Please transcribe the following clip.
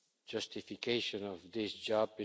justification of this job.